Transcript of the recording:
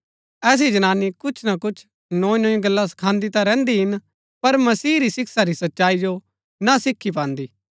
ऐसी जनानी कुछ ना कुछ नोई नोई गल्ला सखांदी ता रैहन्‍दी हिन पर मसीह री शिक्षा री सच्चाई जो ना सीखी पान्दी